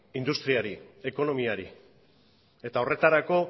industriari ekonomiari eta horretarako